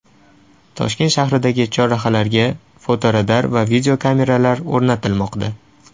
Toshkent shahridagi chorrahalarga fotoradar va videokameralar o‘rnatilmoqda.